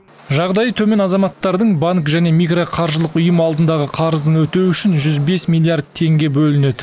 жағдайы төмен азаматтардың банк және микроқаржылық ұйым алдындағы қарызын өтеу үшін жүз бес миллиард теңге бөлінеді